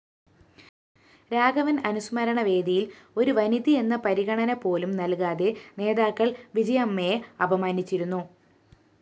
രാഘവന്‍ അനുസ്മരണവേദിയില്‍ ഒരുവനിതയെന്ന പരിഗണനപോലും നല്‍കാതെ നേതാക്കള്‍ വിജയമ്മയെ അപമാനിച്ചിരുന്നു